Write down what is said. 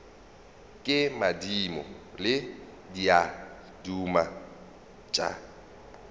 ke madimo le diaduma tša